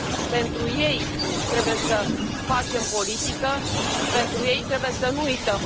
Pentru ei trebuie să facem politică și pentru ei trebuie să nu uităm.